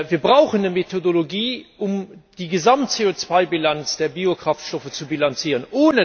Wir brauchen eine Methodologie, um die Gesamt CO2 Bilanz der Biokraftstoffe zu bilanzieren.